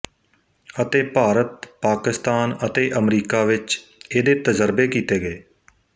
ਅਤੇ ਭਾਰਤ ਪਾਕਿਸਤਾਨ ਅਤੇ ਅਮਰੀਕਾ ਵਿੱਚ ਇਹਦੇ ਤਜਰਬੇ ਕੀਤੇ ਗਏ